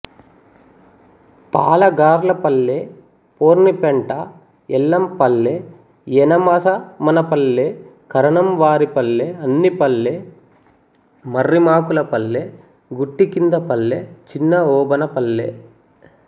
Palagarlapalle Pornipenta Yellampalle Yanamasamanapalle Karanamvaripalle Annipalle Marrimakulapalle Guttikindapalle Chinnaobanapalle